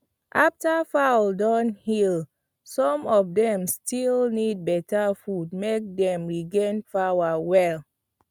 after fowl don heal some of dem still need beta food make dem regain power well